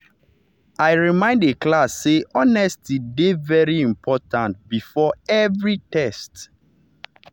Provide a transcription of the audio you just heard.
i remind the class say honesty dey very important before every test.